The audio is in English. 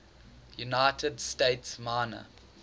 united states minor